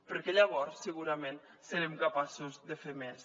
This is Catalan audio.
perquè llavors segurament serem capaços de fer més